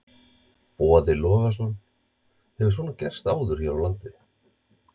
Boði Logason: Hefur svona gerst áður hér á landi?